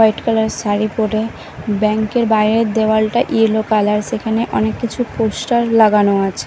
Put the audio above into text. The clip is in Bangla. হোয়াইট কালার -এর শাড়ি পরে ব্যাংক -এর বাইরের দেওয়ালটা ইয়েলো কালার সেখানে অনেক কিছু পোস্টার লাগানো আছে।